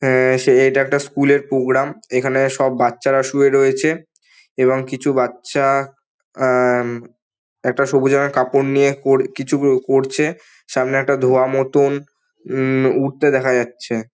এই টা একটা স্কুলের প্রোগ্রাম এইখানে সব বাঁচা শুয়ে রয়েছে এবং কিছু বচ্চা আহ একটা সবুজ রঙের কাপড় নিয়ে কিছু করছে এবং সামনে দোয়ার মতন উমম কিছু উড়তে দেখা যাচ্ছে।